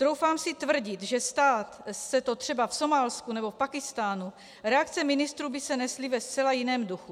Troufám si tvrdit, že stát se to třeba v Somálsku nebo v Pákistánu, reakce ministrů by se nesly ve zcela jiném duchu.